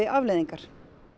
afleiðingar